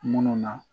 Munnu na